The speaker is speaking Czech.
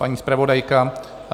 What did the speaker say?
Paní zpravodajka?